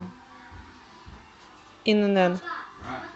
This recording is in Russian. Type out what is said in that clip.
инн